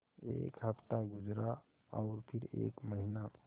एक हफ़्ता गुज़रा और फिर एक महीना